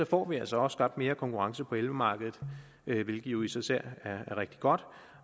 får vi altså skabt mere konkurrence på elmarkedet hvilket jo i sig selv er rigtig godt